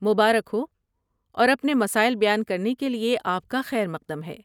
مبارک ہو اور اپنے مسائل بیان کرنے کے لیے آپ کا خیر مقدم ہے۔